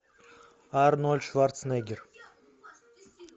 арнольд шварценеггер